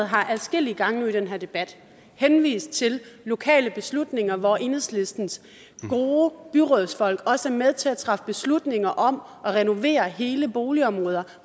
har adskillige gange nu i den her debat henvist til lokale beslutninger hvor enhedslistens gode byrådsfolk også er med til at træffe beslutninger om at renovere hele boligområder